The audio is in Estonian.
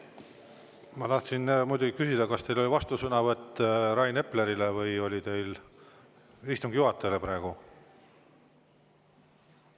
Ma tahtsin muidu küsida, kas teil on vastusõnavõtt Rain Eplerile või on teil praegu istungi juhatajale.